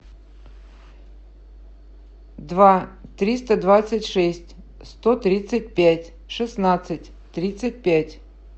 два триста двадцать шесть сто тридцать пять шестнадцать тридцать пять